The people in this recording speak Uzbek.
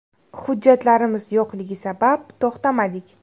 Hujjatlarimiz yo‘qligi sabab to‘xtamadik.